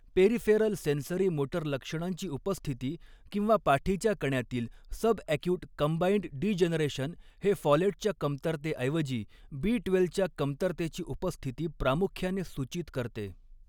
Peripheral sensory motor लक्षणांची उपस्थिती किंवा पाठीच्या कण्यातील सबॲक्यूट कंबाइंड डीजनरेशन हे फॉलेटच्या कमतरतेऐवजी बी ट्वेल्वच्या कमतरतेची उपस्थिती प्रामुख्याने सूचित करते.